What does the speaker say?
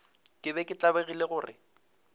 ke be ke tlabegile gore